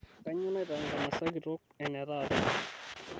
Kainyoo naitaa enkansa kitok enetaata?